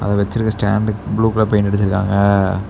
இங்க வச்சிருக்ற ஸ்டேண்டுக்கு ப்ளூ கலர்ல பெய்ண்ட் அடிச்சிருக்காங்க.